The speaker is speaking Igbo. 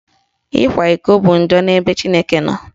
Ịkwa iko bụ njọ n'ebe Chineke nọ.